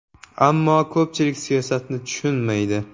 Ammo ko‘pchilik siyosatni tushunmaydi”.